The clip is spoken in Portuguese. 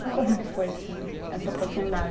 E como que foi, assim, essa oportunidade?